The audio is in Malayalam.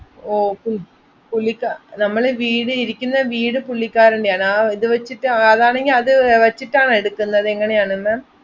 ഓ പുൾ~ പുള്ളികാ~ നമ്മളെ വീട് ഇരിക്കുന്ന വീട് പുള്ളിക്കാരൻ്റെ ആണ്, ആ ഇത് വെച്ചിട്ട് അതാണെങ്കി അത് വച്ചിട്ടാണോ എടുക്കുന്നത് എങ്ങനെയാണെന്ന്?